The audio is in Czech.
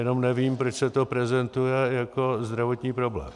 Jenom nevím, proč se to prezentuje jako zdravotní problém.